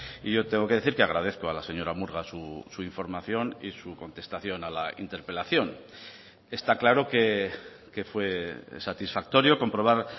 y yo tengo que decir que agradezco a la señora murga su información y su contestación a la interpelación está claro que fue satisfactorio comprobar